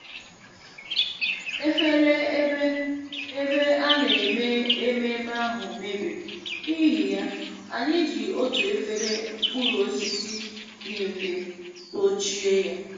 Efere ebe ebe a na-eme ememme ahụ mebiri, n’ihi ya, anyị ji otu efere mkpụrụ osisi dị mfe dochie ya